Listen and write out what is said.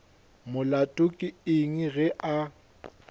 molato ke eng ge a